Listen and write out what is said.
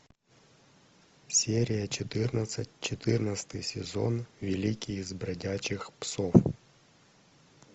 серия четырнадцать четырнадцатый сезон великий из бродячих псов